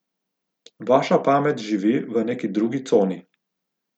Vaša pamet živi v neki drugi coni.